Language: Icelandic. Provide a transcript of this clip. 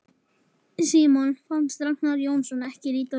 Símoni fannst Ragnar Jónsson ekki líta vel út.